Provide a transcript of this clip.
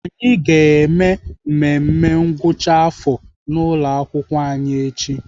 Anyị ga-eme mmemme ngwụcha afọ n'ụlọakwụkwọ anyị echi.